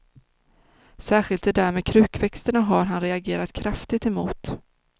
Särskilt det där med krukväxterna har han reagerat kraftigt emot.